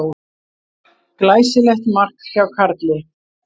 Glæsilegt mark hjá Karli.